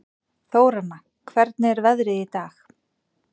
Þóranna, hvernig er veðrið í dag?